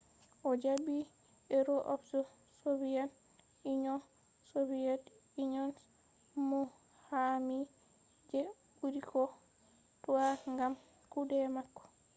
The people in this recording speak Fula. o jaɓi hero of the soviet union” soviet union’s muqami je ɓuri ko toi gam kuɗe mako